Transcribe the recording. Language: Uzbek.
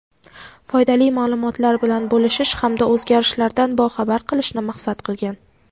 foydali ma’lumotlar bilan bo‘lishish hamda o‘zgarishlardan boxabar qilishni maqsad qilgan.